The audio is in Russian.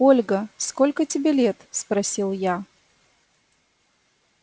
ольга сколько тебе лет спросил я